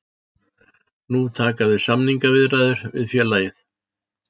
Nú taka við samningaviðræður við félagið